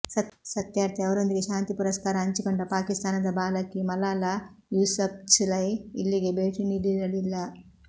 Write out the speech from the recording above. ಸತ್ಯಾರ್ಥಿ ಅವರೊಂದಿಗೆ ಶಾಂತಿ ಪುರಸ್ಕಾರ ಹಂಚಿಕೊಂಡ ಪಾಕಿಸ್ತಾನದ ಬಾಲಕಿ ಮಲಾಲಾ ಯೂಸಫ್ಝೈ ಇಲ್ಲಿಗೆ ಭೇಟಿ ನೀಡಿರಲಿಲ್ಲ